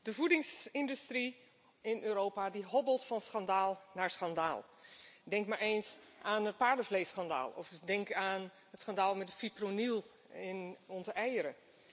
Voorzitter, de voedingsindustrie in Europa hobbelt van schandaal naar schandaal. Denk maar eens aan het paardenvleesschandaal of denk aan het schandaal met de fipronil in onze eieren.